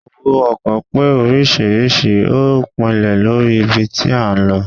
owo ọkọ pe oriṣiriṣi o pinle Lori ibí tí a n ló